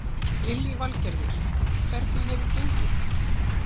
Lillý Valgerður: Hvernig hefur gengið?